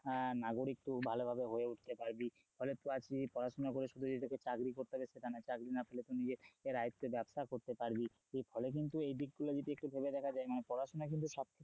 আহ নাগরিত্ব ভালোভাবে হয়ে উঠতে পারবি তাহলে আজকে যদি পড়াশোনা করে শুধু যদি তোকে চাকরি করতে হবে সেটা না চাকরি না পেলে তুই নিজের আয়ত্তে ব্যবসা করতে পারবি ফলে কিন্তু এই দিকগুলো যদি একটু ভেবে দেখা যায় মানে পড়াশোনা কিন্তু সবক্ষেত্রেই,